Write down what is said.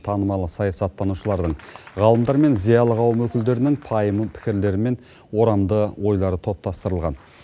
танымал саясаттанушылардың ғалымдар мен зиялы қауым өкілдерінің пайымды пікірлері мен орамды ойлары топтастырылған